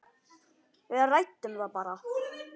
Við ræddum það bara.